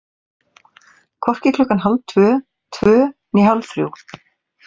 Hvorki klukkan hálftvö, tvö né hálfþrjú.